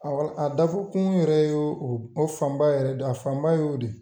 Awɔ dakun yɛrɛ y'o fanba yɛrɛ de ye, a fanba y'o de ye.